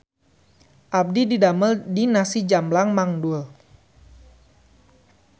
Abdi didamel di Nasi Jamblang Mang Dul